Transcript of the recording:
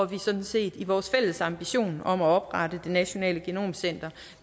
vi sådan set i vores fælles ambition om at oprette det nationale genomcenter